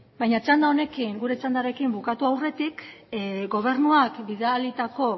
baina txanda honekin gure txandarekin bukatu aurretik gobernuak bidalitako